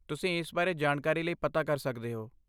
ਤੁਸੀਂ ਇਸ ਬਾਰੇ ਜਾਣਕਾਰੀ ਲਈ ਪਤਾ ਕਰ ਸਕਦੇ ਹੋ।